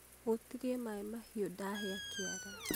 hutirie maĩ mahiũ ndahĩa kĩara